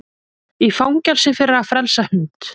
Í fangelsi fyrir að frelsa hund